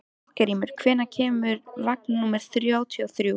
Eldgrímur, hvenær kemur vagn númer þrjátíu og þrjú?